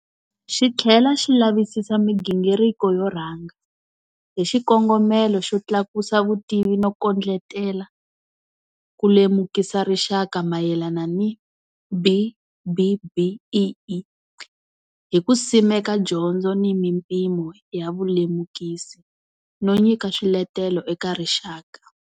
Xi tlhela xi lavisisa migingiriko yo rhanga, hi xiko ngomelo xo tlakusa vutivi no kondletela ku lemukisa rixaka mayelana ni BBBEE, hi ku simeka dyondzo ni mimpimo ya vulemukisi, no nyika swiletelo eka rixaka.